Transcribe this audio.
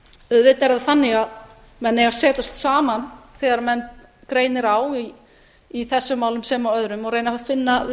auðvitað er það þannig að menn eiga að setjast saman þegar menn greinir á í þessum málum sem og öðrum og reyna að finna